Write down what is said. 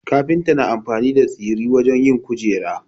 Kafinta na amfani da tsiri wajen yin kujera